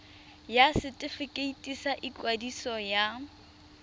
ya setefikeiti sa ikwadiso ya